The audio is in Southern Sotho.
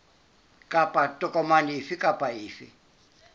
kapa tokomane efe kapa efe